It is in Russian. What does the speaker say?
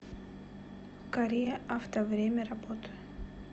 корея авто время работы